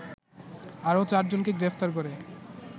আরও চারজনকে গ্রেফতার করে